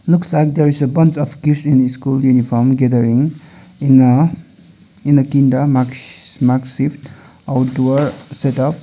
looks like there is a bunch of kids in the school uniform gathering in a in the kinda mark marks shift outdoor set up.